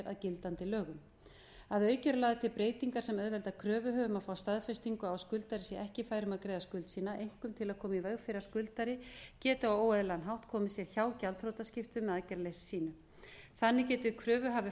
að gildandi lögum að auki eru lagðar til breytingar sem auðvelda kröfuhöfum að fá staðfestingu á að skuldari sé ekki fær um að greiða skuld sína einkum til að koma í veg fyrir að skuldari geti á óeðlilegan hátt komið sér hjá gjaldþrotaskiptum með aðgerðarleysi sínu þannig geti kröfuhafi